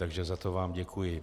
Takže za to vám děkuji.